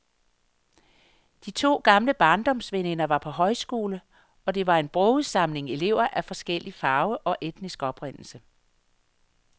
De to gamle barndomsveninder var på højskole, og det var en broget samling elever af forskellig farve og etnisk oprindelse.